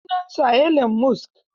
Sunansa Elon Musk.